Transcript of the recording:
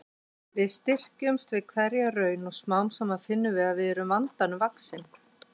Við styrkjumst við hverja raun og smám saman finnum við að við erum vandanum vaxin.